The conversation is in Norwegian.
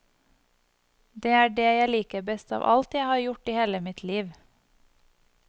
Det er det jeg liker best av alt jeg har gjort i hele mitt liv.